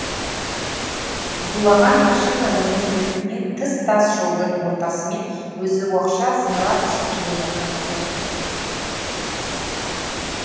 зулаған машина оның еркінен тыс тас жолдың ортасымен өзі оқша зымырап ұшып келе жатқан сияқты